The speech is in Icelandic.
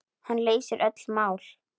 Hann leysir öll mál.